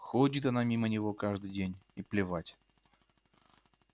ходит она мимо него каждый день и плевать